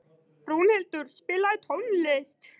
Rúnhildur, spilaðu tónlist.